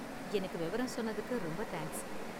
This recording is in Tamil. எனக்கு விவரம் சொன்னதுக்கு ரொம்ப தேங்க்ஸ்.